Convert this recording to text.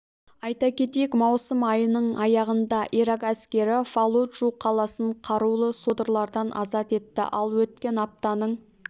айта кетейік маусым айының аяғында ирак әскері фаллуджу қаласын қарулы содырлардан азат етті ал өткен аптаның